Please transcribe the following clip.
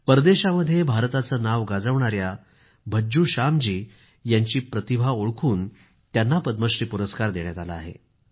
परदेशामध्ये भारताचे नाव गाजवणाऱ्या भज्जू श्यामजी यांची प्रतिभा ओळखून त्यांना पद्मश्री पुरस्कार देण्यात आला आहे